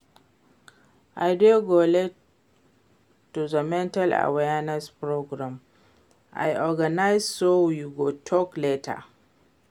I dey go late to the mental awareness program I organize so we go talk later